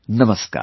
Namaskar